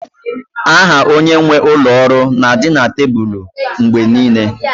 Aha onye nwe ụlọ ọrụ na-adị na tebụl mgbe niile